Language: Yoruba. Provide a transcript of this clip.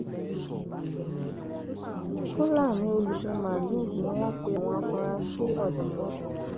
fúlàní olùṣín máàlù ni wọn pe àwọn afurasí ọdaràn náà